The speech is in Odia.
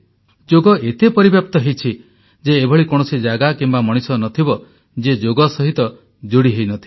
ଯୋଗ ଏତେ ପରିବ୍ୟାପ୍ତ ହୋଇଛି ଯେ ଏଭଳି କୌଣସି ସ୍ଥାନ କିମ୍ବା ମଣିଷ ନ ଥିବ ଯିଏ ଯୋଗ ସହିତ ଯୋଡ଼ି ହୋଇନଥିବ